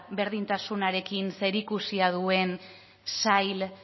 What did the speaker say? berdintasunarekin zerikusia duen sail